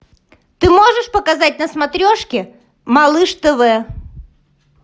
ты можешь показать на смотрешке малыш тв